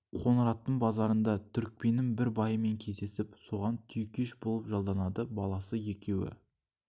қоңыраттың базарыңда түрікпеннің бір байымен кездесіп соған түйекеш болып жалданады баласы екеуі